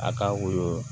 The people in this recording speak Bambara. A ka woyo